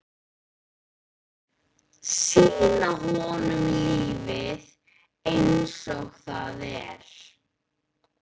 Sýna honum lífið einsog það er.